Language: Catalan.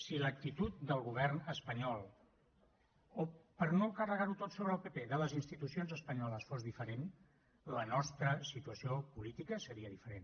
si l’actitud del govern espanyol o per no carregar ho tot sobre el pp de les institucions espanyoles fos diferent la nostra situació política seria diferent